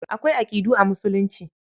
Akwai aƙidu a Musulunci.